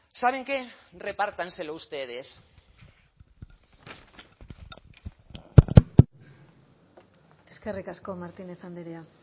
saben qué repártanselo ustedes eskerrik asko martínez andrea